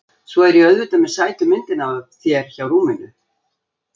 Svo er ég auðvitað með sætu myndina af þér hjá rúminu.